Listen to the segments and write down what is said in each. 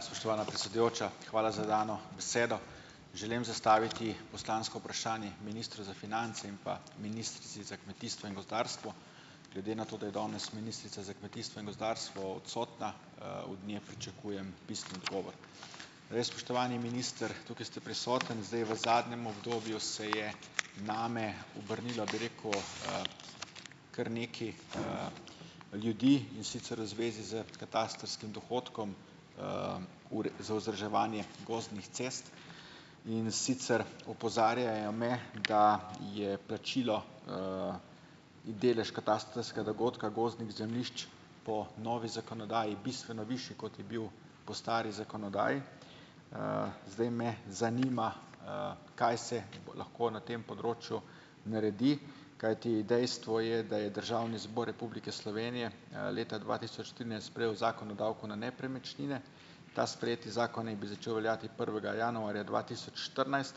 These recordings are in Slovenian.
Spoštovana predsedujoča, hvala za dano besedo. Želim zastaviti poslansko vprašanje ministru za finance in pa ministrici za kmetijstvo in gozdarstvo, glede na to, da je danes ministrica za kmetijstvo in gospodarstvo odsotna, od nje pričakujem pisni odgovor. Zdaj spoštovani minister, tukaj ste prisoten, zdaj v zadnjem obdobju se je name obrnilo, bi rekel, kar nekaj, ljudi, in sicer v zvezi s katastrskim dohodkom, za vzdrževanje gozdnih cest, in sicer opozarjajo me, da je plačilo, delež katastrskega dogodka gozdnih zemljišč po novi zakonodaji bistveno višji, kot je bil po stari zakonodaji. Zdaj me zanima, kaj se lahko na tem področju naredi, kajti dejstvo je, da je Državni zbor Republike Slovenije, leta dva tisoč trinajst sprejel Zakon o davku na nepremičnine. Ta sprejeti zakon ne bi začel veljati prvega januarja dva tisoč štirinajst,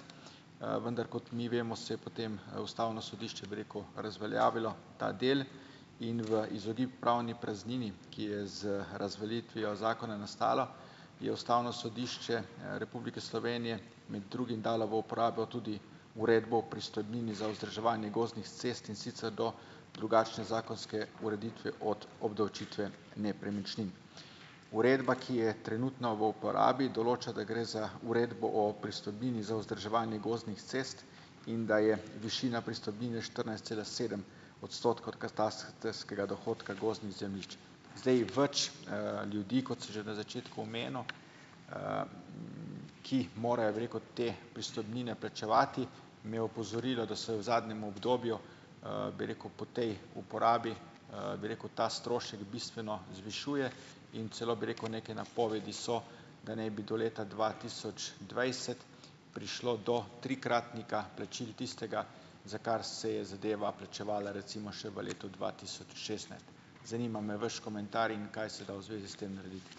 vendar kot mi vemo, se je potem, ustavno sodišče, bi rekel, razveljavilo ta del in v izogib pravni praznini, ki je z razveljavitvijo zakona nastala, je Ustavno sodišče, Republike Slovenije med drugim dalo v uporabo tudi uredbo pristojbin za vzdrževanje gozdnih cest, in sicer do drugačne zakonske ureditve od obdavčitve nepremičnin. Uredba, ki je trenutno v uporabi, določa, da gre za uredbo o pristojbini za vzdrževanje gozdnih cest in da je višina pristojbine štirinajst cela sedem odstotkov katastrskega dohodka gozdnih zemljišč. Zdaj več, ljudi, kot sem že na začetku omenil, ki jih morajo, bi rekel, te pristojbine plačevati, me je opozorilo, da se v zadnjem obdobju, bi rekel, po tej uporabi, bi rekel, ta strošek bistveno zvišuje in celo, bi rekel, neke napovedi so, da naj bi do leta dva tisoč dvajset prišlo do trikratnika plačil tistega, za kar se je zadeva plačevala recimo še v letu dva tisoč šestnajst. Zanima me vaš komentar in kaj se da v zvezi s tem narediti.